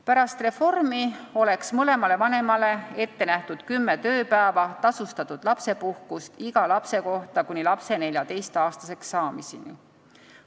Pärast reformi oleks mõlemale vanemale ette nähtud kümme tööpäeva tasustatud lapsepuhkust iga lapse kohta kuni lapse 14-aastaseks saamiseni.